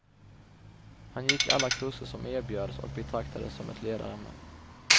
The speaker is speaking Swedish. Han gick alla kurser som erbjöds och betraktades som ett ledarämne.